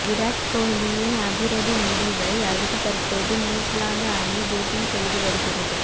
விராத் கோஹ்லியின் அதிரடி முடிவை அடுத்து தற்போது நியூசிலாந்து அணி பேட்டிங் செய்து வருகிறது